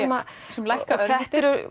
sem lækka þetta eru